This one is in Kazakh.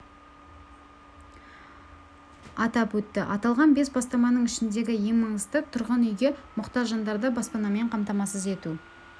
атап өтті аталған бес бастаманың ішіндегі ең маңыздысы тұрғын үйге мұқтаж жандарды баспанамен қамтамасыз ету